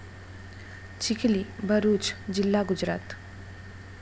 चिखली, भरूच जिल्हा, गुजरात